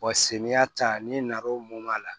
samiyɛ ta n'i nan'o mo a la